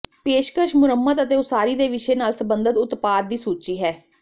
ਪੇਸ਼ਕਸ਼ ਮੁਰੰਮਤ ਅਤੇ ਉਸਾਰੀ ਦੇ ਵਿਸ਼ੇ ਨਾਲ ਸਬੰਧਤ ਉਤਪਾਦ ਦੀ ਸੂਚੀ ਹੈ